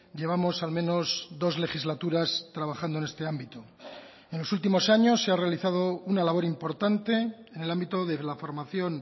llevamos al menos dos legislaturas trabajando en este ámbito en los últimos años se ha realizado una labor importante en el ámbito de la formación